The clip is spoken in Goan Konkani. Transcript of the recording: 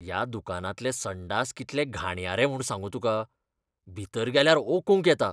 ह्या दुकानांतले संडास कितले घाणयारे म्हूण सांगू तुका, भितर गेल्यार ओकूंक येता.